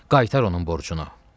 Qaytar onun borcunu.